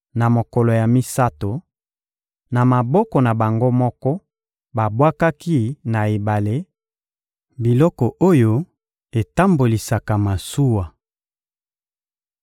Na mokolo ya misato, na maboko na bango moko, babwakaki na ebale, biloko oyo etambolisaka masuwa.